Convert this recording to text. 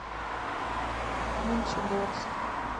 мончегорск